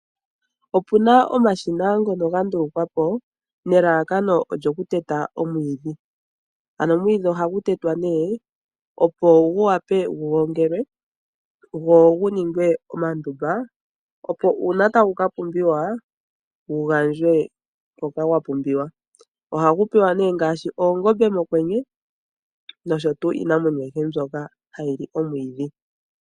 Opuna omashina ngono ga ndulukwa po nelalakano lyoku teta omwiidhi. Ano omwiidhi ohagu tetwa nee, opo gu wape gu gongelwe, go gu ningwe omandumba, opo uuna tagu ka pumbiwa, gu gandjwe mpoka gwa pumbiwa. Ohagu pewa nee ngaashi oongombe mokwenye nosho tuu iinamwenyo ayihe mbyoka hayi li omwiidhi.